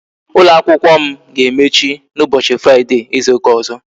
Ụlọ akwụkwọ m ga-emechi n'ụbọchị fraide Izu ụka ọzọ